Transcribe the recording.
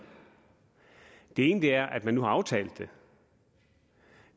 det ene er at man nu har aftalt det